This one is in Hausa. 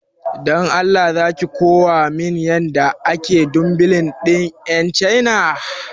Dan Allah zaki kowa min yan yadda ake dumbilin din yan chaina